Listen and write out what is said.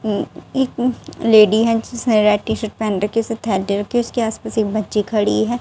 उम्म एक लेडी है जिसने रेड टी-शर्ट पहन रखी दे रखी उसके आस-पास एक बच्ची खड़ी है।